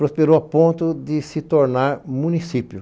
Prosperou a ponto de se tornar município.